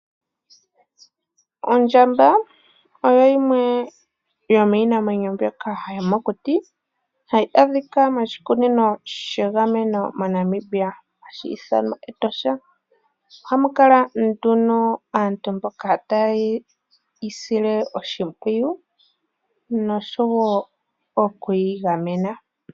Ondjamba oyo yimwe yomiinamwenyo mbyoka yomokuti hayi adhika moshikunino shegameno moNamibia hashi dhanwa Etosha oha mukala nduno aantu mboka teye yeyi sile oshipwiyu nosho wo okuyi gamena.